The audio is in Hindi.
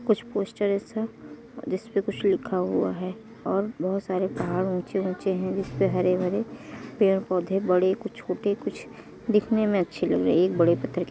कुछ पोस्टर ऐसा जिस पर कुछ लिखा हुआ है और बहुत सारे पहाड़ ऊँचे ऊँचे हैं जिसे हरे भरे पेड़ पौधे बड़े कुछ छोटे कुछ देखने में अच्छे लग रहे है| एक बड़े पत्र के --